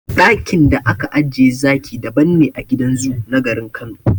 Daƙin da aka ajiye zaki daban ne a gidan zoo na garin Kano.